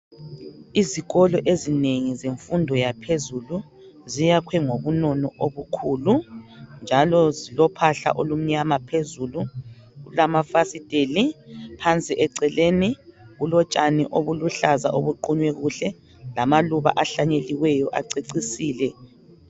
Izikolo ezinengi zemfundo yaphezulu ziyakhwe ngobunono obukhulu njalo zilophahla olumnyama phezulu, kulamafasitheli, phansi ecele kulotshani obuluhlaza obuqunywe kuhle lamaluba ahlanyeliweyo acecisile.